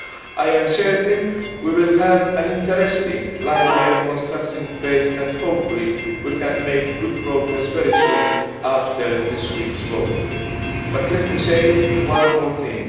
I am certain we will have an interesting, lively and constructive debate and hopefully we can make good progress very soon after this week's vote, but let me say one more thing.